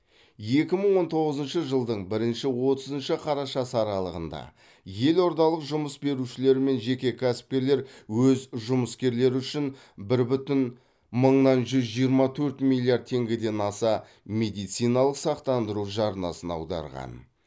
екі мың он тоғызыншы жылдың бірінші отызыншы қарашасы аралығында елордалық жұмыс берушілер мен жеке кәсіпкерлер өз жұмыскерлері үшін бір бүтін мыңнан жүз жиырма төрт миллиард теңгеден аса медициналық сақтандыру жарнасын аударған